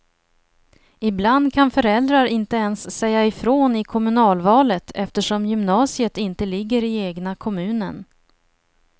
Ibland kan föräldrar inte ens säga ifrån i kommunalvalet, eftersom gymnasiet inte ligger i egna kommunen.